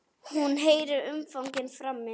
Hún heyrir umgang frammi.